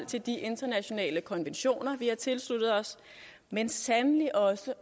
til de internationale konventioner vi har tilsluttet os men sandelig også